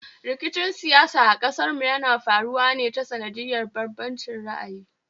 Rikicin siyasa a ƙasarmu yana faruwa ne ta sanadin bambancin ra'ayi